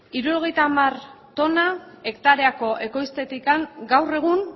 hirurogeita hamar tona hektareako ekoiztetik gaur egun